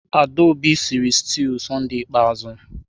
Adaobi sịrị stuụ Sọnde ikpeazụ.